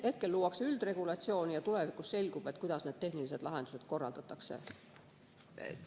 Hetkel luuakse üldregulatsiooni ja tulevikus selgub, kuidas need tehnilised lahendused korraldatakse.